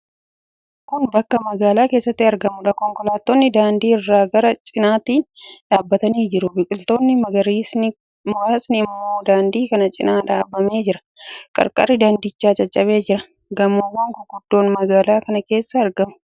Kun bakka magaalaa keessatti argamuudha. Konkolaattonni daandii irra karaa cinaatiin dhaabbatanii jiru. Biqiltoonni magariisni muraasni immoo daandii kana cina dhaabamee jira. Qarqarri daandichaa caccabee jira. Gamoowwan guguddoon magaalaa kana keessatti argamu.